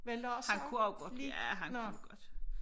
Han kunne også godt ja han kunne godt